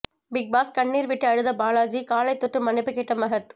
big Boss கண்ணீர் விட்டு அழுத பாலாஜி காலை தொட்டு மன்னிப்பு கேட்ட மஹத்